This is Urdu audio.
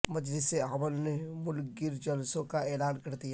مجلس عمل نے ملک گیر جلسوں کا اعلان کردیا